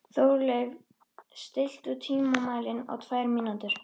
Þórleif, stilltu tímamælinn á tvær mínútur.